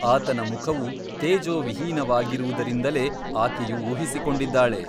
ಆತನ ಮುಖವು ತೇಜೋವಿಹೀನವಾಗಿರುವುದರಿಂದಲೇ ಆಕೆಯು ಊಹಿಸಿಕೊಂಡಿದ್ದಾಳೆ.